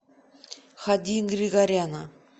хади григоряна